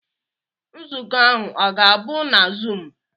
Nzukọ ahụ ọ ga-abụ na zuum?